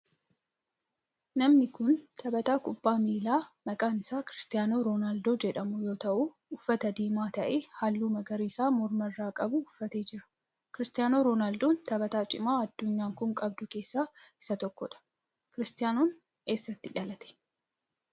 Namni kun taphataa kubbaa miilaa maqaan isaa Kiristaanoo Roonaaldoo jedhamu yoo ta'u uffata diimaa ta'ee halluu magariisa morma irraa qabu uffatee jira. Kiristaanoo Roonaaldoo taphataa cimaa addunyaan tun qabdu keessaa isa tokkodha. Roonaaldoon eessatti dhalate?